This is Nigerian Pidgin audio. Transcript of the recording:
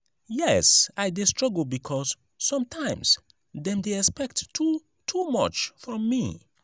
yes i dey struggle because sometimes dem dey expect too too much from me.